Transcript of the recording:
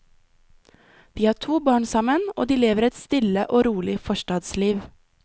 De har to barn sammen og de lever et stille og rolig forstadsliv.